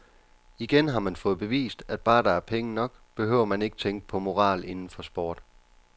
Igen har man fået bevist, at bare der er penge nok, behøver man ikke tænke på moral inden for sport.